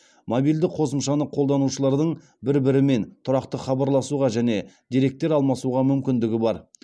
мобильді қосымшаны қолданушылардың бір бірімен тұрақты хабарласуға және деректер алмасуға мүмкіндігі бар